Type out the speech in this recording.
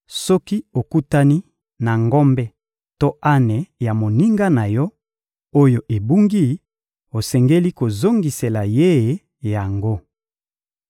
Soki okutani na ngombe to ane ya monguna na yo, oyo ebungi, osengeli kozongisela ye yango.